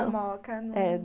Na moca, não.